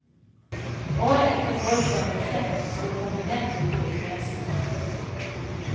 Året etter foreslo en bekjent at han skulle kombinere de to interessene. punktum